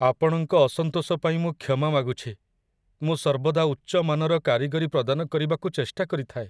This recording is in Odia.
ଆପଣଙ୍କ ଅସନ୍ତୋଷ ପାଇଁ ମୁଁ କ୍ଷମା ମାଗୁଛି, ମୁଁ ସର୍ବଦା ଉଚ୍ଚ ମାନର କାରିଗରୀ ପ୍ରଦାନ କରିବାକୁ ଚେଷ୍ଟା କରିଥାଏ।